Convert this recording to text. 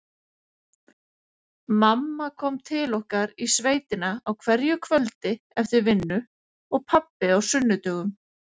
Mamma kom til okkar í sveitina á hverju kvöldi eftir vinnu og pabbi á sunnudögum.